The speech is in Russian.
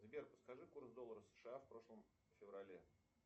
сбер подскажи курс доллара сша в прошлом феврале